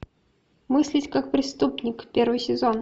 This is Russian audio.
мыслить как преступник первый сезон